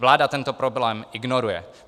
Vláda tento problém ignoruje.